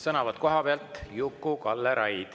Sõnavõtt kohapealt, Juku-Kalle Raid.